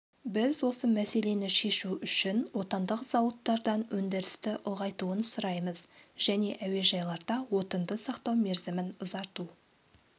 біз осы мәселені шешу үшін отандық зауыттардан өндірісті ұлғайтуын сұраймыз және әуежайларда отынды сақтау мерзімін ұзарту